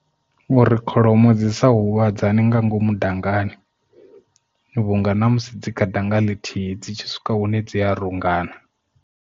Uri kholomo dzi sa huvhadzane nga ngomu dangani vhunga na musi dzi kha danga ḽithihi dzi tshi swika hune dzi a rungana.